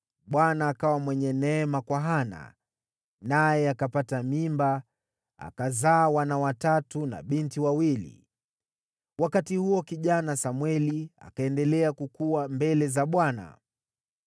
Bwana akawa mwenye neema kwa Hana, naye akapata mimba akazaa wana watatu na binti wawili. Wakati huo, kijana Samweli akaendelea kukua mbele za Bwana .